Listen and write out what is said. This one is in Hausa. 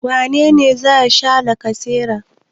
Wane ne za sha lacasera?